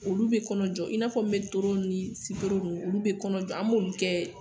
Olu bɛ kɔnɔ jɔ, i n'a fɔ mɛtoro ni sitoro ninnu olu bɛ kɔnɔ jɔ an bɛ olu kɛ